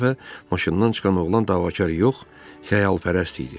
Bu dəfə maşından çıxan oğlan davakar yox, xəyalpərəst idi.